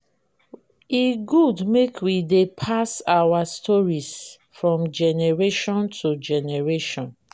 e good make we dey pass our stories from generation to generation.